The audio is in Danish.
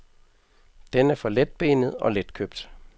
Den er for letbenet og letkøbt.